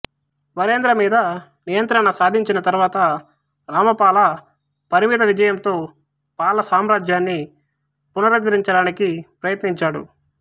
వరేంద్ర మీద నియంత్రణ సాధించిన తరువాత రామపాల పరిమిత విజయంతో పాల సామ్రాజ్యాన్ని పునరుద్ధరించడానికి ప్రయత్నించాడు